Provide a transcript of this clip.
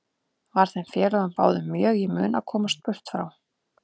Var þeim félögum báðum mjög í mun að komast burt frá